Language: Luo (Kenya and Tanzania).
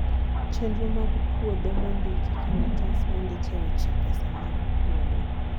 chenro mag puodho mondiki, kalatas mondike weche pesa mag puodho